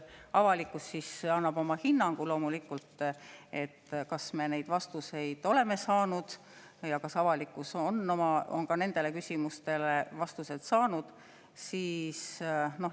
Avalikkus annab loomulikult oma hinnangu, kas me oleme vastuseid saanud ja kas avalikkus on ka nendele küsimustele vastused saanud.